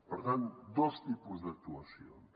per tant dos tipus d’actuacions